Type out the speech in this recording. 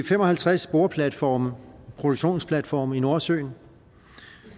fem og halvtreds boreplatforme og produktionsplatforme i nordsøen